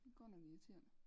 Godt nok irriterende